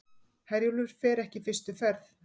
Herjólfur fer ekki fyrstu ferð